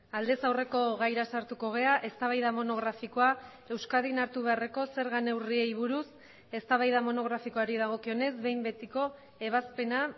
aldez aurreko gaira sartuko gara eztabaida monografikoa euskadin hartu beharreko zerga neurriei buruz eztabaida monografikoari dagokionez behin betiko ebazpena